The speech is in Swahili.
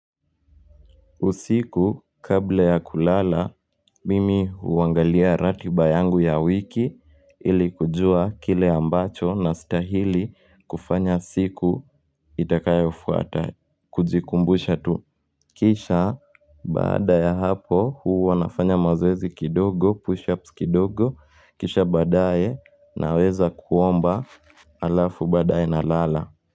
Usiku, kabla ya kulala, mimi huangalia ratiba yangu ya wiki ili kujua kile ambacho nastahili kufanya siku itakayofuata kujikumbusha tu. Kisha, baada ya hapo, huwa nafanya mazoezi kidogo, pushups kidogo, kisha baadaye naweza kuomba alafu badae na lala.